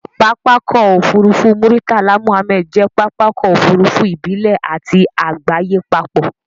Pápákọ̀ òfurufú Muritala Muhammed jẹ́ pápákọ̀ òfurufú ìbílẹ̀ àti àgbáyé papọ̀.